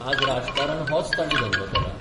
आज राजकारण होच तांणी धंदो केला.